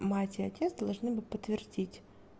мать и отец должны бы подтвердить